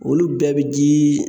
Olu bɛɛ bi ji